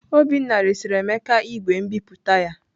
Obinna resịrị Emeka igwe nbipute ya.